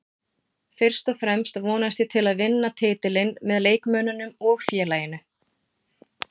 Fyrst og fremst vonast ég til að vinna titilinn með leikmönnunum og félaginu